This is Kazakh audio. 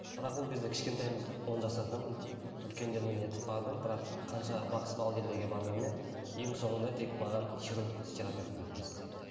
бірақ ол кезде кішкентаймыз ғой он жастамын үлкендермен нетіп бардым бірақ қанша бақсы балгерлерге барғанмен ең соңында тек маған хирург терапевт көмектесті